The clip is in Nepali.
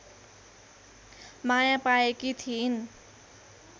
माया पाएकी थिइन्